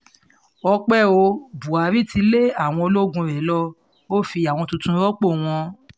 ọ̀pẹ ò buhari ti lé àwọn ológun rẹ̀ ló o fi àwọn tuntun rọ́pò wọn